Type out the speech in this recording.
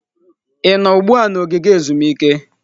Ị nọ ugbu a na ogige ezumike?